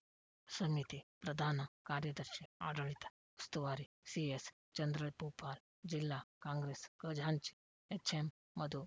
ಸಮಿತಿ ಪ್ರಧಾನ ಕಾರ್ಯದರ್ಶಿಆಡಳಿತ ಉಸ್ತುವಾರಿ ಸಿಎಸ್‌ಚಂದ್ರಭೂಪಾಲ್ ಜಿಲ್ಲಾ ಕಾಂಗ್ರೆಸ್‌ ಖಜಾಂಚಿ ಎಚ್‌ಎಂಮಧು